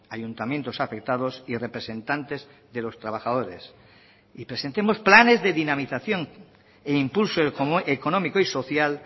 ayuntamientos afectados y representantes de los trabajadores y presentemos planes de dinamización e impulso económico y social